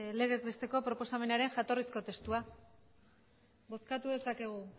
legez besteko proposamenaren jatorrizko testua bozkatu dezakegu